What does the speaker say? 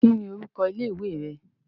Kí ni orúkọ ilé ìwé rẹ.